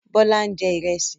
Bọ́lá ń jẹ Ìrẹ́sì